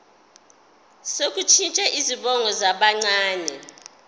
sokushintsha izibongo zabancane